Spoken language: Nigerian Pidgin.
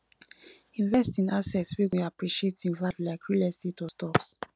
invest in assets wey go appreciate in value like real estate or stocks